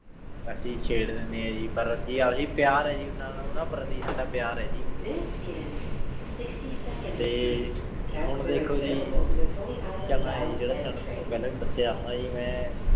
ਅਸੀਂ ਛੇਰ ਦੇਣੇ ਆਂ ਜੀ ਪਰ ਆਯ ਜੀ ਏਹੋ ਜੀ ਪ੍ਯਾਰ ਆਯ ਜੀ ਓਨਾਂ ਨੂ ਪ੍ਰਤੀ ਸਦਾ ਪ੍ਯਾਰ ਆਯ ਜੀ ਤੇ ਹੁਣ ਦੇਖੋ ਜੀ ਚਨਾ ਆਯ ਜੀ ਜੇਰਾ ਚਾਰਾਂ ਸਿੰਘ ਤਨੁ ਪਹਲੀ ਵੀ ਦਸ੍ਯ ਹੋਣਾ ਜੀ ਮੈਂ